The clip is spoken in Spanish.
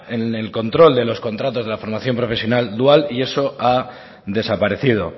en el control de los contratos de la formación profesional dual y eso ha desaparecido